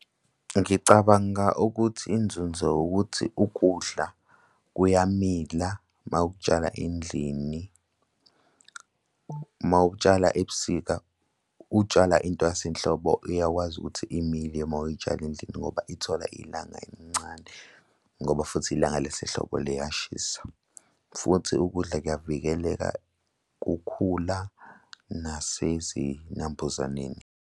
Ngicabanga ukuthi inzunzo ukuthi ukudla kuyamila uma ukutshala endlini. Uma ukutshala ebusika utshala intwasanhlobo uyakwazi ukuthi imile uma uyitshala endlini ngoba ithola ilanga elincane ngoba futhi ilanga lesehlobo liyashisa, futhi ukudla kuyavikeleka kukhula nasezinambuzaneni.